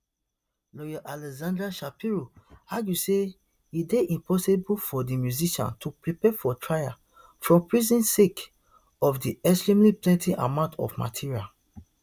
lawyer alexandra shapiro argue say e dey impossible for di musician to prepare for trial from prison sake of di extremely plenty amount of material